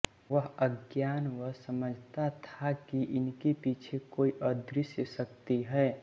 वह अज्ञानवश समझता था कि इनके पीछे कोई अदृश्य शक्ति है